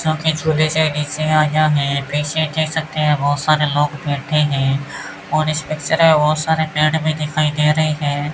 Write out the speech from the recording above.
जोकि आया है पीछे देख सकते है बोहोत सारे लोग बैठे है और इस पिक्चर मे बहोत सारे पेड़ भी दिखाई दे रहे है।